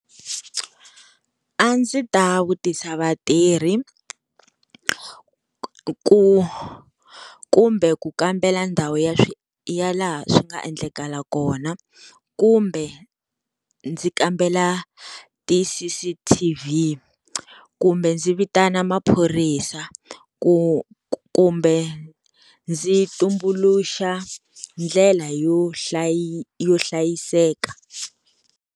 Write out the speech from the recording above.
A ndzi ta vutisa vatirhi ku kumbe ku kambela ndhawu ya ya laha swi nga endleka kona kumbe ndzi kambela ti-C_C_T_V kumbe ndzi vitana maphorisa ku kumbe ndzi tumbuluxa ndlela yo hlayi yo hlayiseka.